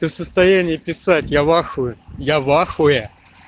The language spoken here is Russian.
ты в состоянии писать я в ахуе я в ахуе